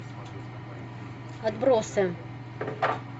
отбросы